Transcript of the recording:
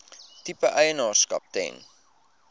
tipe eienaarskap ten